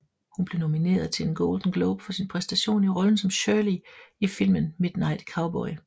Hun blev nomineret til en Golden Globe for sin præstation i rollen som Shirley i filmen Midnight Cowboy